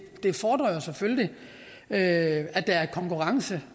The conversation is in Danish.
det fordrer jo selvfølgelig at der er konkurrence